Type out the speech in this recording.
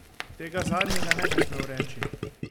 Tega zadnjega ne bi smel reči.